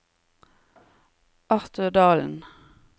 Arthur Dahlen